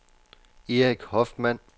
Erik Hoffmann